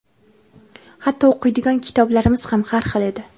Hatto o‘qiydigan kitoblarimiz ham har xil edi.